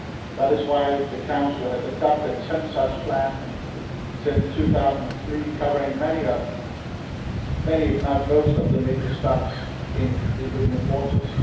That is why the Council has adopted 10 such plans since 2003 covering many, if not most, of the major stocks in the Union waters.